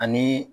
Ani